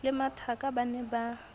le mathaka ba ne ba